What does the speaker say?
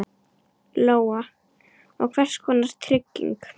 Lóa: Og hvers konar trygging?